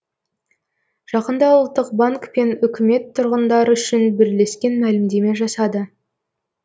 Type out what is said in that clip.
жақында ұлттық банк пен үкімет тұрғындар үшін бірлескен мәлімдеме жасады